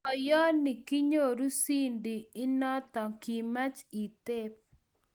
Boiyoni, kinyoru ciidi inoto, kimach iteb.